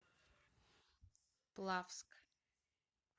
плавск